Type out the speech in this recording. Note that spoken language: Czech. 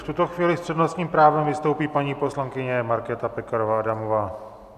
V tuto chvíli s přednostním právem vystoupí paní poslankyně Markéta Pekarová Adamová.